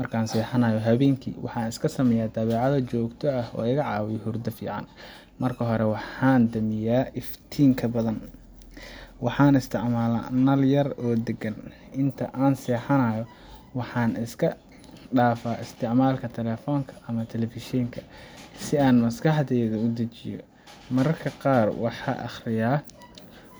Markan sixanayo habenki waxan iskasameya dabecado jogto ah oo igacawiyo hurdo fican, marki hore waxan iskadamiyah iftinka badhan waxan istamala nal yar oo dagan, intaa an sixanayo waxan iska dafaa istacmalka telefonka, ama telefishenka sii an maskaxdeyda udajiyo, mararka qar waxan aqriya